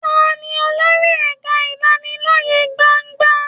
Ta ni olórí ẹ̀ka ìlanilọ́yẹ gbangba?